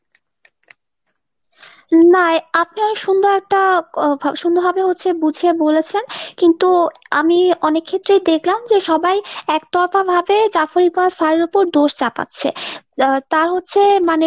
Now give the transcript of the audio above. না আপনার সুন্দরতা আহ সুন্দরভাবে হচ্ছে বুঝিয়ে বলেছেন কিন্তু আমি অনেক ক্ষেত্রেই দেখলাম যে সবাই এক তরফ ভাবে Zafar Iqbal sir এর উপর দোষ চাপাচ্ছে আহ তার হচ্ছে মানে।